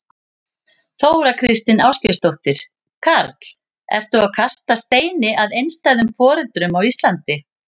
Þóra Kristín Ásgeirsdóttir: Karl, ertu að kasta steini að einstæðum foreldrum á Íslandi?